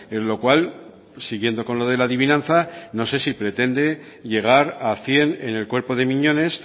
en lo cual siguiendo con lo de la adivinanza no sé si pretende llegar a cien en el cuerpo de miñones